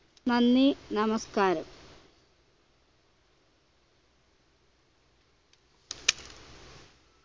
നന്ദി നമസ്കാരം